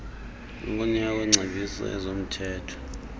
ukunikwa kwengcebiso yezomthetho